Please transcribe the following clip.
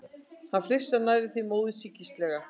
Hann flissar, nærri því móðursýkislega.